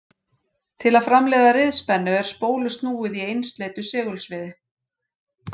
Til að framleiða riðspennu er spólu snúið í einsleitu segulsviði.